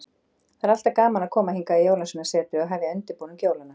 Það er alltaf gaman að koma hingað í Jólasveinasetrið og hefja undirbúning jólanna.